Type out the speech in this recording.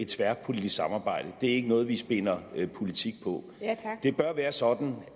tværpolitisk samarbejde det er ikke noget vi spinder politik på det bør være sådan